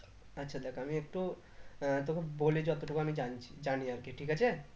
আচ্ছা দেখ আমি একটু আহ তোকে বলি যত টুকু আমি জানছি জানি আর কি ঠিক আছে